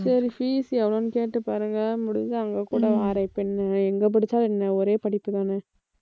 சரி fees எவ்வளவுன்னு கேட்டுப் பாருங்க முடிஞ்சா அங்கே கூட வாறேன் இப்ப நான் எங்க படிச்சா என்ன ஒரே படிப்பு தானே